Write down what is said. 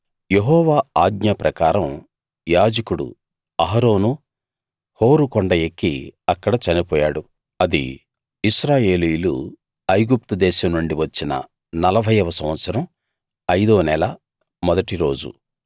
యెహోవా ఆజ్ఞ ప్రకారం యాజకుడు అహరోను హోరు కొండ ఎక్కి అక్కడ చనిపోయాడు అది ఇశ్రాయేలీయులు ఐగుప్తు దేశం నుండి వచ్చిన 40 వ సంవత్సరం అయిదో నెల మొదటి రోజు